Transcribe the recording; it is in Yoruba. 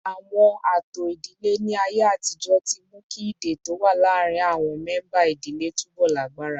Àwọn ààtò ìdílé ní ayé àtijọ́ ti mú kí ìdè tó wà láàárín àwọn mẹ́ńbà ìdílé túbọ̀ lágbára